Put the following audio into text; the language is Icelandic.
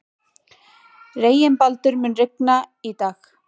Reginbaldur, mun rigna í dag?